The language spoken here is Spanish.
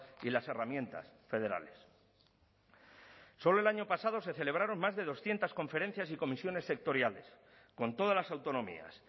y las herramientas federales solo el año pasado se celebraron más de doscientos conferencias y comisiones sectoriales con todas las autonomías